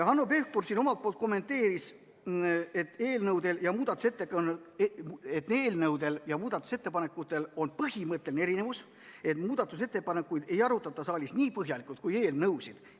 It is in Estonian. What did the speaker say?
Hanno Pevkur kommenteeris, et eelnõudel ja muudatusettepanekutel on põhimõtteline erinevus – muudatusettepanekuid ei arutata saalis nii põhjalikult kui eelnõusid.